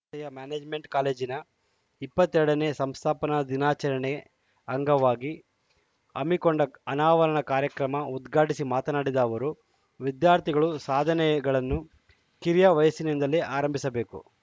ಯ ಮ್ಯಾನೇಜ್‌ಮೆಂಟ್‌ ಕಾಲೇಜಿನ ಇಪ್ಪತ್ತ್ ಎರಡ ನೇ ಸಂಸ್ಥಾಪನಾ ದಿನಾಚರಣೆ ಅಂಗವಾಗಿ ಹಮ್ಮಿಕೊಂಡ ಅನಾವರಣ ಕಾರ್ಯಕ್ರಮ ಉದ್ಘಾಟಿಸಿ ಮಾತನಾಡಿದ ಅವರು ವಿದ್ಯಾರ್ಥಿಗಳು ಸಾಧನೆಗಳನ್ನು ಕಿರಿಯ ವಯಸ್ಸಿನಿಂದಲೇ ಆರಂಭಿಸಬೇಕು